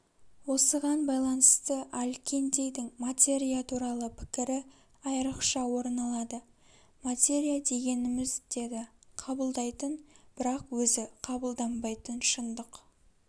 осыған байланысты аль-киндидің материя туралы пікірі айрықша орын алады материя дегеніміз деді кабылдайтын бірақ өзі қабылданбайтын шындық